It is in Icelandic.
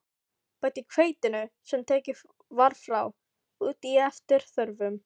Bætið hveitinu, sem tekið var frá, út í eftir þörfum.